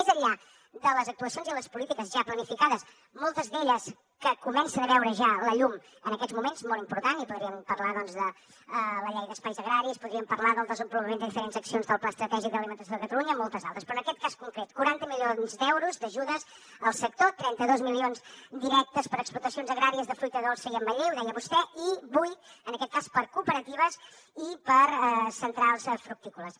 més enllà de les actuacions i les polítiques ja planificades moltes d’elles que comencen a veure ja la llum en aquests moments molt important i podríem parlar doncs de la llei d’espais agraris podríem parlar del desenvolupament de diferents accions del pla estratègic d’alimentació de catalunya i moltes altres però en aquest cas concret quaranta milions d’euros d’ajudes al sector trenta dos milions directes per a explotacions agràries de fruita dolça i ametller ho deia vostè i vuit en aquest cas per a cooperatives i per a centrals fructícoles